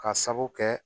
Ka sabu kɛ